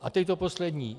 A teď to poslední.